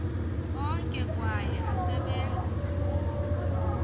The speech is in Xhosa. onke kwaye asebenza